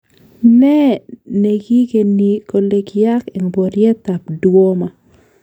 Neeh nekikeni kole kiyaak en boryet ab Douma?